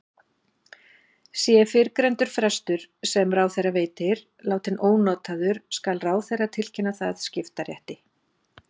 Sé fyrrgreindur frestur, sem ráðherra veitir, látinn ónotaður skal ráðherra tilkynna það skiptarétti.